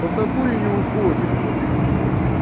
в натуре не уходит бля прикинь